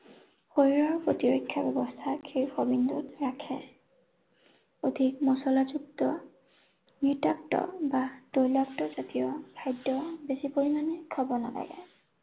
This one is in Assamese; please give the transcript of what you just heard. শৰীৰৰ প্ৰতিৰক্ষা ব্যৱস্থাক ৰাখে। অধিক মচলাযুক্ত বা তৈলাক্তজাতীয় খাদ্য বেছি পৰিমাণে খাব নালাগে।